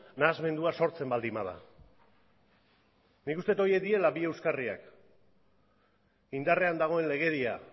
nahasmendua sortzen baldin bada nik uste dut horiek direla bi euskarriak indarrean dagoen legedia